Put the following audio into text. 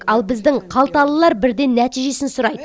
ал біздің қалталылар бірден нәтижесін сұрайды